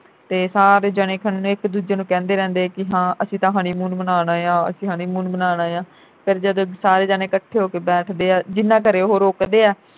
ਤੇ ਸਾਰੇ ਜਾਣੇ ਇਕ ਦੂਜੇ ਨੂੰ ਕਹਿੰਦੇ ਰਹਿੰਦੇ ਕਿ ਹਾਂ ਅਸੀਂ ਤਾਂ honeymoon ਮਨਾਉਣ ਆਏ ਆ ਅਸੀਂ honeymoon ਮਨਾਉਣ ਆਏ ਆ ਫਿਰ ਜਦੋਂ ਸਾਰੇ ਜਾਣੇ ਇਕੱਠੇ ਹੋ ਕੇ ਬੈਠਦੇ ਆ ਜਿਨ੍ਹਾਂ ਘਰੇ ਉਹ ਰੁਕਦੇ ਆ